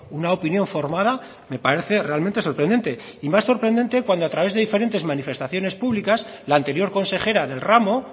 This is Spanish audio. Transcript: una opinión formada me parece realmente sorprendente y más sorprendente cuando a través de diferentes manifestaciones públicas la anterior consejera del ramo